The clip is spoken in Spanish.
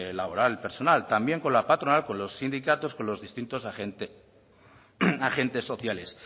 laboral y personal también con la patronal con los sindicatos con los distintos agentes sociales